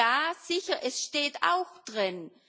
Ja, sicher, es steht auch drin.